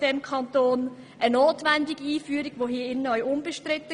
Die Einführung war notwendig und im Grossen Rat auch unbestritten.